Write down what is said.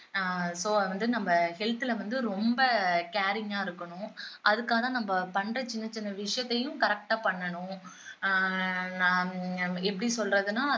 ஆஹ் so அது வந்து நம்ம health ல வந்து ரொம்ப caring ஆ இருக்கணும் அதுக்கான நம்ம பண்ற சின்ன சின்ன விஷயத்தையும் correct ஆ பண்ணணும் ஆஹ் எப்படி சொல்றதுனா